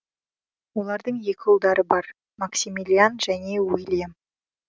олардың екі ұлдары бар максимилиан және уилльям